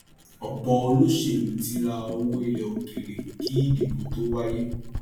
ọpọ olóṣèlú ti rà owó ilẹ òkèèrè kí ìdìbò tó wáyé